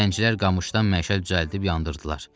Zəncilər qamışdan məşəllər düzəldib yandırdılar.